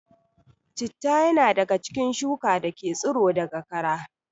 Citta ya na daga cikin shuka dake tsiro daga kara